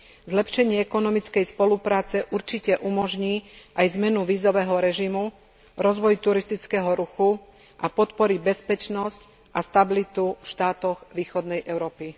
Zlepšenie ekonomickej spolupráce určite umožní aj zmenu vízového režimu, rozvoj turistického ruchu a podporí bezpečnosť a stabilitu v štátoch východnej Európy.